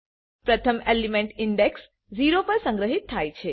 પ્રથમ element index 0 પર સંગ્રહિત થાય છે